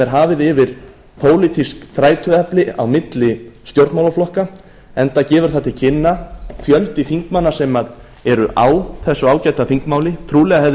hafið yfir pólitísk þrætuefni á milli stjórnmálaflokka enda gefur það til kynna fjöldi þingmanna sem eru á þessu ágæta þingmáli trúlega hefði verið